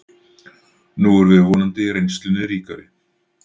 Nú erum við vonandi reynslunni ríkari